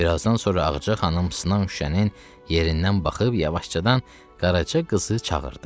Bir azdan sonra Ağacı xanım sınan şüşənin yerindən baxıb yavaşcadan Qaraca qızı çağırdı.